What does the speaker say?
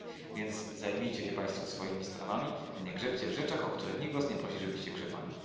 Więc zajmijcie się Państwo swoimi sprawami, nie grzebcie w rzeczach, w których nikt Was nie prosi, żebyście grzebali.